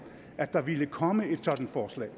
at der ville komme et sådant forslag